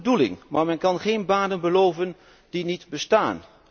Dat is een goede bedoeling, maar men kan geen banen beloven die niet bestaan.